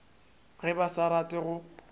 ge ba sa rate go